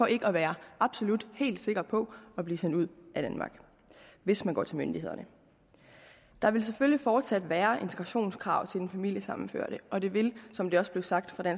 ikke at være absolut helt sikker på at blive smidt ud af danmark hvis man går til myndighederne der vil selvfølgelig fortsat være integrationskrav til den familiesammenførte og det vil som det også blev sagt af